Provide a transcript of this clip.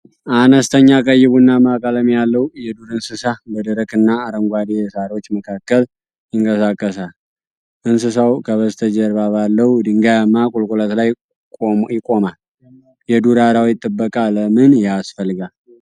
አነስተኛ ቀይ ቡናማ ቀለም ያለው የዱር እንስሳ በደረቅና አረንጓዴ ሣሮች መካከል ይንቀሳቀሳል። እንስሳው ከበስተጀርባ ባለው ድንጋያማ ቁልቁለት ላይ ይቆማል። የዱር አራዊት ጥበቃ ለምን ያስፈልጋል?